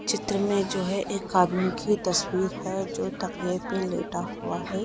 चित्र में जो है एक आदमी की तस्वीर है जो तकिये पे लेटा हुआ है।